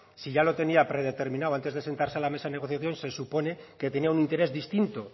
si ya lo tenía predeterminado antes de sentarse a la mesa de negociación se supone que tenía un interés distinto